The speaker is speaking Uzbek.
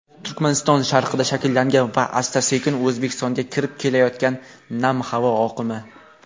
Turkmaniston sharqida shakllangan va asta-sekin O‘zbekistonga kirib kelayotgan nam havo oqimi.